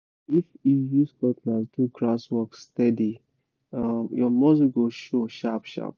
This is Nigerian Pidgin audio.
if you use cutlass do grass work steady um your muscle go show sharp-sharp